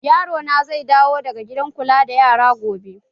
Yaro na zai dawo daga gidan kula da yara gobe